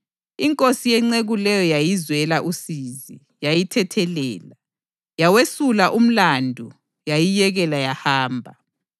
Inkosi yenceku leyo yayizwela usizi, yayithethelela, yawesula umlandu yayiyekela yahamba.